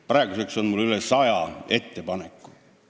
Praeguseks on mul üle saja ettepaneku.